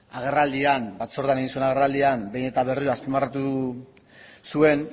agerraldian batzordean egin zuen agerraldian behin eta berriro azpimarratu zuen